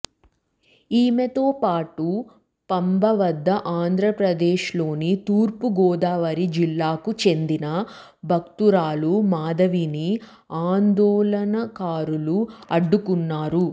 ఈమెతో పాటు పంబ వద్ద ఆంధ్రప్రదేశ్లోని తూర్పుగోదావరి జిల్లాకు చెందిన భక్తురాలు మాధవిని ఆందోళనకారులు అడ్డుకున్నారు